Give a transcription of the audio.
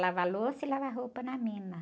Ia lavar louça e lavar roupa na mina.